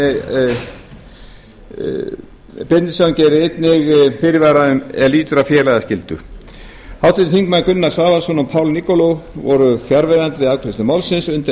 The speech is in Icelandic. háttvirtur þingmaður bjarni benediktsson gerir einnig fyrirvara er lýtur að félagaskyldu háttvirtir þingmenn gunnar svavarsson og paul nikolov voru fjarverandi við afgreiðslu málsins undir